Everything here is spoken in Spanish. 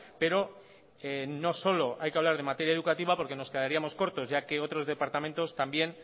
pero no solo hay que hablar de materia educativa porque nos quedaríamos cortos ya que otros departamentos también